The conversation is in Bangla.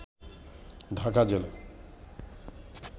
ঢাকা জেলা